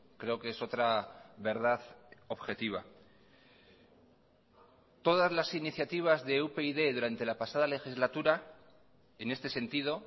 creo que es otra verdad objetiva todas las iniciativas de upyd durante la pasada legislatura en este sentido